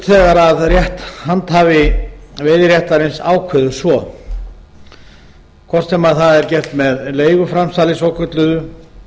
þegar rétthandhafi veiðiréttarins ákveður svo hvort sem það er gert með leiguframsali svokölluðu